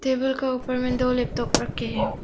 Table का ऊपर में दो लैपटॉप रखे हैं।